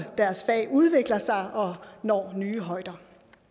deres fag udvikler sig og når nye højder